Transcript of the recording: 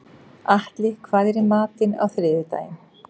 Atli, hvað er í matinn á þriðjudaginn?